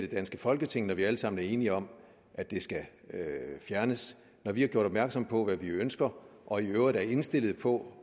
danske folketing når vi alle sammen er enige om at det skal fjernes når vi har gjort opmærksom på hvad vi ønsker og i øvrigt er indstillet på